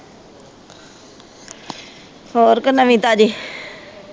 ਹੋਰ ਕੋਈ ਨਵੀਂ ਤਾਜੀ?